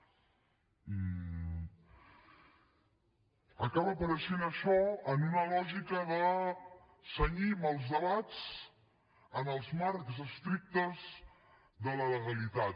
acaba apareixent això en una lògica de cenyim els debats als marcs estrictes de la legalitat